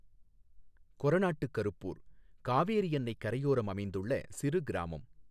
கொரநாட்டு கருப்பூர் காவேரி அன்னை கரையோரம் அமைந்துள்ள சிறு கிராமம்.